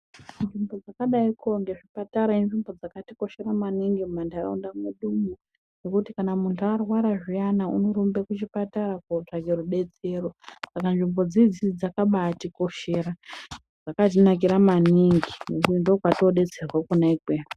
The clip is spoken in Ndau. Nzvimbo dzakadaiko ngezvipatara inzvimbo dzakatikoshera munharaunda medumwo ngekuti munthu kana arwara zviyana unorumba kuchipatara kootsvaka rubetsero saka nzvimbo dzidzi dzakabaatikoshera dzakatinakira maningi ngekuti ndokwatinodetserwa Kona ikweyo.